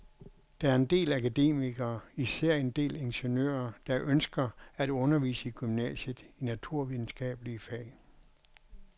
Der er en del akademikere, især en del ingeniører, der ønsker at undervise i gymnasiet i naturvidenskabelige fag.